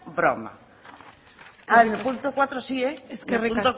broma ahora el punto cuatro sí eskerrik